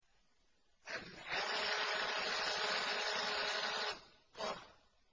الْحَاقَّةُ